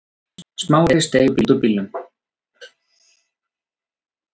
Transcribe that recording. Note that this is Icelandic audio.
Smári steig út úr bílnum.